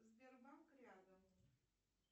сбербанк рядом